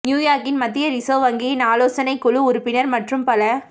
நியூயார்க்கின் மத்திய ரிசர்வ் வங்கியின் ஆலோசனை குழு உறுப்பினர் மற்றும் பல